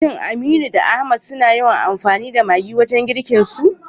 Shin Aminu da Ahmad suna yawan amfani da maggi wajen girkinsu?